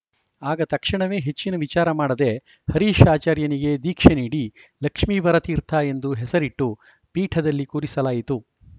ಆಗ ತಕ್ಷಣವೇ ಹೆಚ್ಚಿನ ವಿಚಾರ ಮಾಡದೆ ಹರೀಶ್‌ ಆಚಾರ್ಯನಿಗೆ ದೀಕ್ಷೆ ನೀಡಿ ಲಕ್ಷ್ಮೀವರ ತೀರ್ಥ ಎಂದು ಹೆಸರಿಟ್ಟು ಪೀಠದಲ್ಲಿ ಕೂರಿಸಲಾಯಿತು